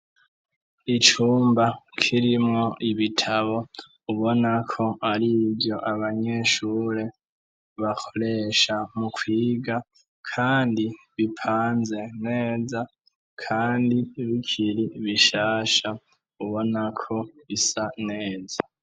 Icumba kirimwo ibitabo ,ubona ko arivyo abanyeshure bakoresha mu kwiga kandi bipanze neza kandi bikiri bishasha ubona ko bisa neza.